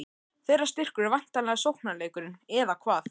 Þeirra styrkur er væntanlega sóknarleikurinn, eða hvað?